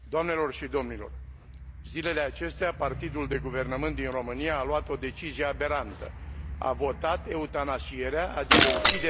Zilele acestea, partidul de guvernământ din România a luat o decizie aberantă a votat eutanasierea, adică uciderea câinilor fără stăpân.